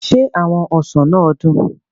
Se awon osan naa dun?